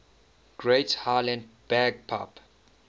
great highland bagpipe